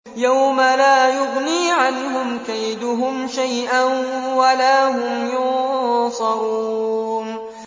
يَوْمَ لَا يُغْنِي عَنْهُمْ كَيْدُهُمْ شَيْئًا وَلَا هُمْ يُنصَرُونَ